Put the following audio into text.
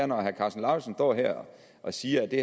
når herre karsten lauritzen står her og siger at det